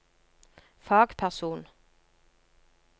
fagperson